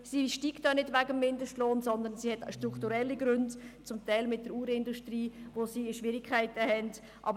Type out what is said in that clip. Sie steigt auch nicht wegen dem Mindestlohn, sondern sie hat strukturelle Gründe, zum Teil wegen der Uhrenindustrie, welche Schwierigkeiten hat.